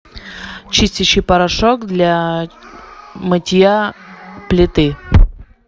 чистящий порошок для мытья плиты